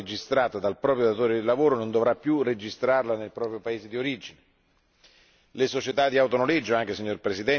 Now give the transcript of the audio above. Chi lavora in un altro paese dell'Unione e utilizza un'auto registrata dal proprio datore di lavoro non dovrà più registrarla nel proprio paese d'origine.